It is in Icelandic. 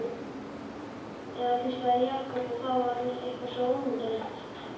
Eða hvíslaði, Jakob, og það var eitthvað svo ónotalegt.